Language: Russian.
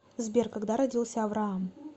сбер когда родился авраам